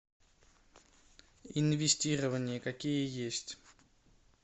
инвестирования какие есть